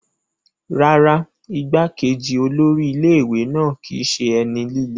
Rárá, igbá-kejì olórí ilé ìwé náà kìí ṣe ẹni líle.